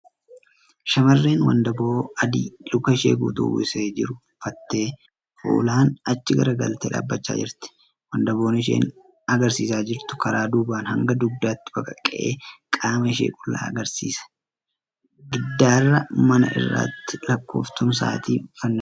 Shamarreen wandaboo adii luka ishee guutuu uwwisee jiru uffattee fuulan achi garagaltee dhaabachaa jirti .Wandaboon isheen agarsiisaa jirtu karaa duubaan hanga dugdaatti baqaqee qaama ishee qullaa agarsiisa. Giddaara mana irratti lakkooftuun sa'aatii fannifameera.